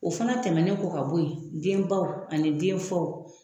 O fana tɛmɛnen kɔ ka bon yen denbaw ani denfaw